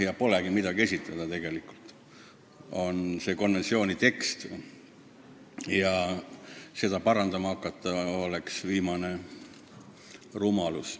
Ega polegi midagi esitada – on see konventsiooni tekst ja seda parandama hakata oleks viimane rumalus.